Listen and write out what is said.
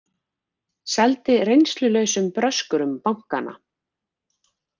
Seldu reynslulausum bröskurum bankana